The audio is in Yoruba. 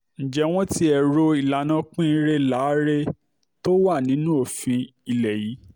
ǹjẹ́ wọ́n tiẹ̀ ro ti ìlànà pín-inre lá-aré tó wà nínú òfin ilé yìí